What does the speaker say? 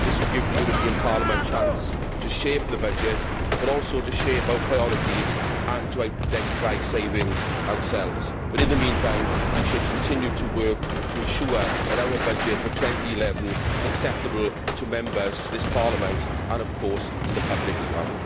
This will give the European Parliament the chance to shape the budget, but also to shape our priorities and to identify savings ourselves, but in the meantime, we should continue to work to ensure that our budget for 2011 is acceptable to Members, to this Parliament and, of course, to the public as well.